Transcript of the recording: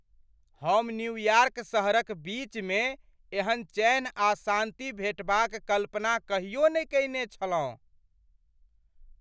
हम न्यूयार्क सहरक बीचमे एहन चैन आ शान्ति भेटबा क कल्पना कहियो नहि कयने छलहुँ!